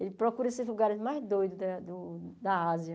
Ele procura esses lugares mais doidos da do da Ásia.